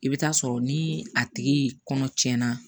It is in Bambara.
I bɛ taa sɔrɔ ni a tigi kɔnɔ na